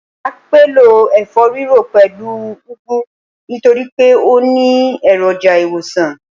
Màá pèlò ẹ̀fọ́-rírò pẹ̀lú u úgú nítorípé ó ni èròjà ìwòsàn